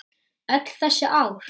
Öll þessi ár?